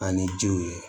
An ni jiw ye